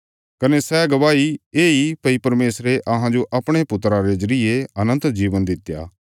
कने सै गवाही येई भई परमेशरे अहांजो अपणे पुत्रा रे जरिये अनन्त जीवन दित्या